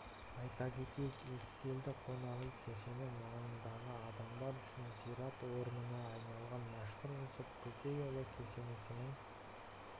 айта кетейік ескелді қонақ үй кешені мыңдаған адамдар үшін зиярат орнына айналған мәшһүр жүсіп көпейұлы кесенесінің